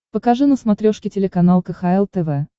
покажи на смотрешке телеканал кхл тв